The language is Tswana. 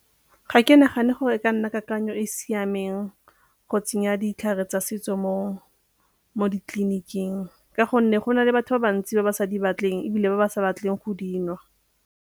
Ga ke nagane gore e ka nna kakanyo e e siameng go tsenya ditlhare tsa setso mo ditleliniking ka gonne go na le batho ba bantsi ba ba sa di batleng ebile ba ba sa batleng go di nwa.